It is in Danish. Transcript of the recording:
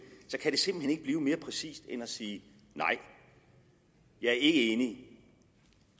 så kan det simpelt hen ikke blive mere præcist end at sige nej jeg er ikke enig